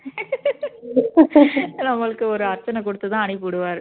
நம்மளுக்கு ஒரு அர்ச்சனை கொடுத்து தான் அனுப்பி விடுவாரு